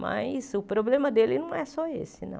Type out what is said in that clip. Mas o problema dele não é só esse, não.